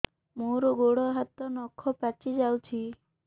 ମୋର ଗୋଡ଼ ହାତ ନଖ ପାଚି ଯାଉଛି